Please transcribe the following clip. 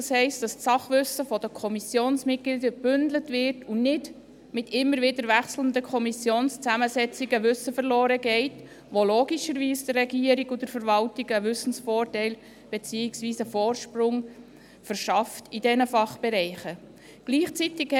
Das heisst, dass das Sachwissen der Kommissionsmitglieder gebündelt wird und nicht mit immer wieder wechselnden Kommissionszusammensetzungen Wissen verloren geht, was der Regierung und der Verwaltung logischerweise einen Wissensvorteil beziehungsweise einen Vorsprung in diesen Fachbereichen verschafft.